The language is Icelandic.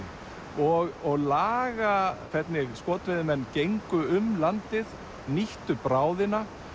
og laga hvernig skotveiðimenn gengu um landið nýttu bráðina